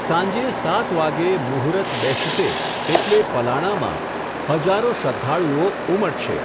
સાંજે સાત વાગે મુહુરત બેસશે એટલે પલાણામાં હજારો શ્રઘ્ધાળુઓ ઉમટશે.